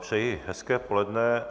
Přeji hezké poledne.